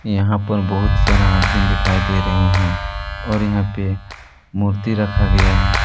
यहां पर बहुत सारा आदमीन दिखाई दे रहे हैं और यहां पे मूर्ति रखा गया है।